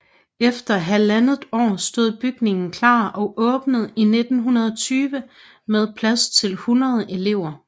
Efter halvandet år stod bygningen klar og åbnede i 1920 med plads til 100 elever